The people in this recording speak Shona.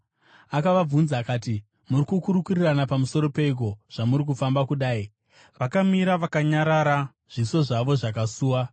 Akavabvunza akati, “Muri kukurukurirana pamusoro peiko, zvamuri kufamba kudai?” Vakamira vakanyarara, zviso zvavo zvakasuwa.